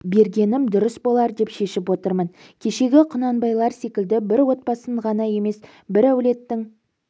бергенім дурыс болар деп шешіп отырмын кешегі құнанбайлар секілді бір отбасын ғана емес бір әулеттің